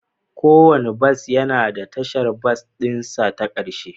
Kowane bas yana da tashar bas ɗin sa ta ƙarshe